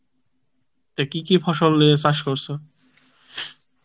তা কি কি ফসলের চাষ করসো?